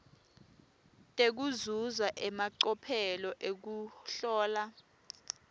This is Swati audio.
tekuzuza emacophelo ekuhlola